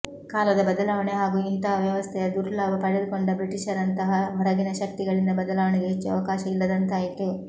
ಕಾಲದ ಬದಲಾವಣೆ ಹಾಗೂ ಇಂತಹ ವ್ಯವಸ್ಥೆಯ ದುರ್ಲಾಭ ಪಡೆದುಕೊಂಡ ಬ್ರಿಟಿಷರಂತಹ ಹೊರಗಿನ ಶಕ್ತಿಗಳಿಂದ ಬದಲಾವಣೆಗೆ ಹೆಚ್ಚು ಅವಕಾಶ ಇಲ್ಲದಂತಾಯಿತು